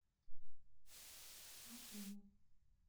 панкову